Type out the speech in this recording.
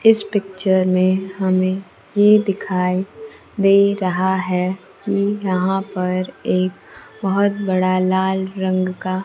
इस पिक्चर में हमें ये दिखाई दे रहा हैं कि यहां पर एक बहोत बड़ा लाल रंग का--